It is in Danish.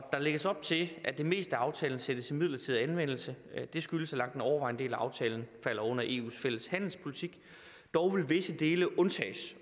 lægges op til at det meste af aftalen sættes i midlertidig anvendelse og det skyldes at langt den overvejende del af aftalen falder under eus fælles handelspolitik dog vil visse dele undtages